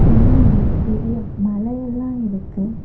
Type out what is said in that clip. பின்னாடி பெரிய மல எல்லா இருக்கு.